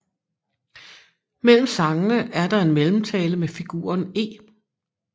Mellem sangene er der en mellemtale med figuren E